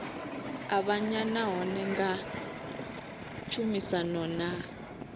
avhanya nahone nga tshumisano na